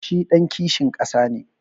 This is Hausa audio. Shi ɗan kishin ƙasa ne.